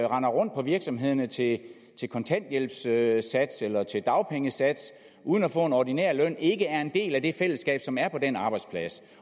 render rundt på virksomhederne til til kontanthjælpssats eller til dagpengesats uden at få en ordinær løn og ikke er en del af det fællesskab som er på den arbejdsplads